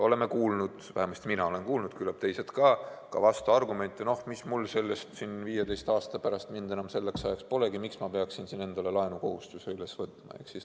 Oleme kuulnud, vähemasti mina olen kuulnud ja küllap teised ka, vastuargumente: mis mul sellest, 15 aasta pärast, mind enam polegi, miks ma peaksin endale laenukohustuse võtma.